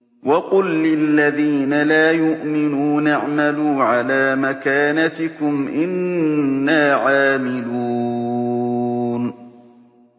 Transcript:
وَقُل لِّلَّذِينَ لَا يُؤْمِنُونَ اعْمَلُوا عَلَىٰ مَكَانَتِكُمْ إِنَّا عَامِلُونَ